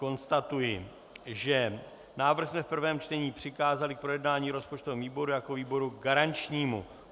Konstatuji, že návrh jsme v prvém čtení přikázali k projednání rozpočtovému výboru jako výboru garančnímu.